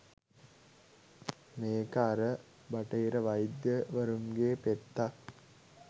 මේක අර බටහිර වෛද්‍ය වරුන්ගේ පෙත්තක්